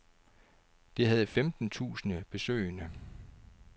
Det havde femten tusinde besøgende.